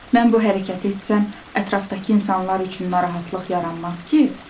Mən bu hərəkəti etsəm, ətrafdakı insanlar üçün narahatlıq yaranmaz ki?